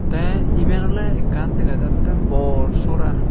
teh eben oley ekkan degajattey bor sora.